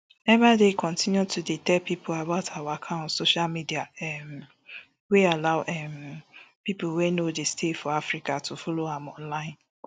ebaide continue to dey tell pipo about her waka for social media um wey allow um pipo wey no dey stay for africa to follow am online